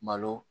Malo